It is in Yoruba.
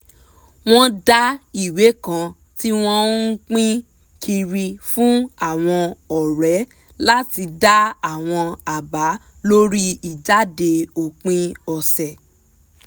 wọ́n dá ìwé kan tí wọ́n ń pín kiri fún àwọn ọ̀rẹ́ láti dá àwọn àbá lórí ìjáde òpin ọ̀sẹ̀